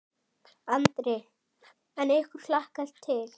Andri: En ykkur hlakkar til?